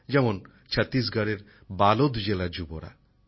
যেমন ছত্তিশগড়ের বালোদ জেলার যুবসম্প্রদায়